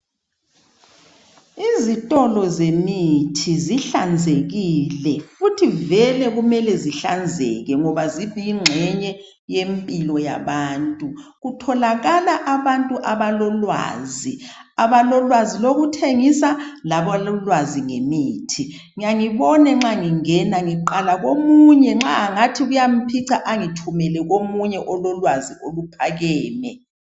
Izitolo zemithi zihlanzekile futhi vele kumele zihlanzeke ngoba ziyingxenye yempilo yabantu. Kutholakala abantu abalolwazi ,abalolwazi lokuthengisa labalolwazi ngemithi. Ngiyangibone nxa ngingena ngiqala komunye nxa ngathi kuyamphica angithumele komunye ongathi ulolwazi oluphakame .